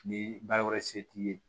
Ni baara wɛrɛ se t'i ye